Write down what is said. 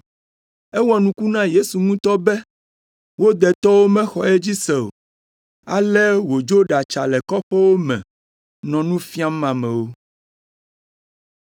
Ewɔ nuku na Yesu ŋutɔ be wo detɔwo mexɔ edzi se o, ale wòdzo ɖatsa le kɔƒewo me nɔ nu fiam amewo.